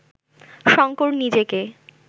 শঙ্কর নিজেকে